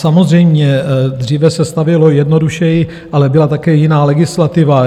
Samozřejmě, dříve se stavělo jednodušeji, ale byla také jiná legislativa.